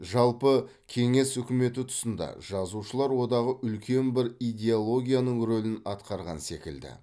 жалпы кеңес үкіметі тұсында жазушылар одағы үлкен бір идеологияның рөлін атқарған секілді